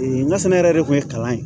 ŋa sɛnɛ yɛrɛ de kun ye kalan ye